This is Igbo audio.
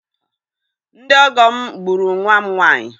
Ndị ọgọ m gburu nwa m nwaanyị.